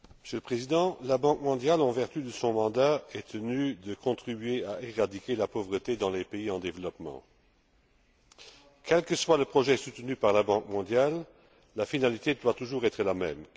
Monsieur le Président, la Banque mondiale, en vertu de son mandat, est tenue de contribuer à éradiquer la pauvreté dans les pays en développement. Quel que soit le projet soutenu par la Banque mondiale, la finalité doit toujours être la même.